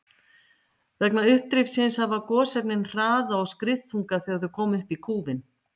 Vegna uppdrifsins hafa gosefnin hraða og skriðþunga þegar þau koma upp í kúfinn.